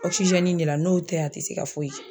Ɔkisizɛni in de la n'o tɛ a te se ka foyi kɛ